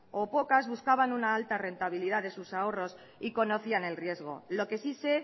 o pocas buscaban una alta rentabilidad de sus ahorros y conocían el riesgo lo que sí sé